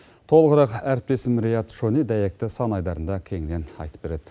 толығырақ әріптесім риат шони дәйекті сан айдарында кеңінен айтып береді